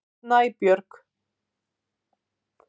Snæbjörg